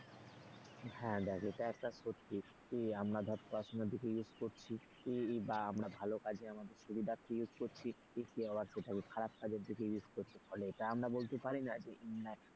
হ্যাঁ দেখ এটা একটা সত্যি যে আমরা ধর পড়াশোনার দিকে use করছি কি আমরা ভালো কাজে আমাদের সুবিধার্থে use করছি, কেউ আবার সেটাই খারাপ কাজের দিকে use করছে ফলে এটা আমরা বলতে পারি না যে,